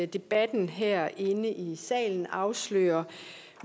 debatten herinde i salen afslører